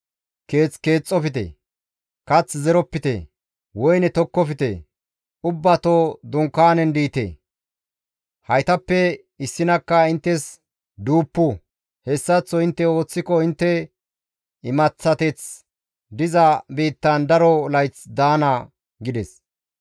keeth keexxofte; kath zeropite; woyne tokkofte; ubbato dunkaanen diite; haytappe issinakka inttes duuppu. Hessaththo intte ooththiko intte imaththateth diza biittan daro layth daana› gides.